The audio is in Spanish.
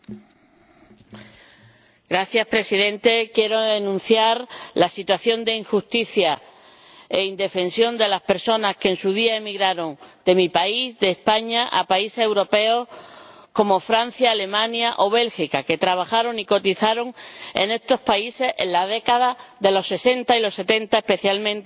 Señor Presidente, quiero denunciar la situación de injusticia e indefensión de las personas que, en su día, emigraron de mi país, España, a países europeos como Francia, Alemania o Bélgica, que trabajaron y cotizaron en estos países en la década de los sesenta y los setenta especialmente, y a quienes ahora